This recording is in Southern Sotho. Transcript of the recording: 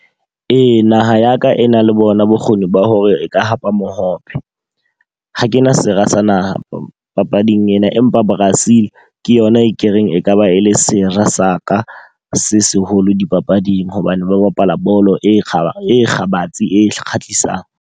Ee, naha ya ka e nang le bona bokgoni ba hore e ka hapa mohope. Ha kena sera sa naha papading ena. Empa Brazil ke yona e ke reng e ka ba e le sera sa ka se seholo dipapading. Hobane ba bapala bolo e e kgabetse e kgahlisang.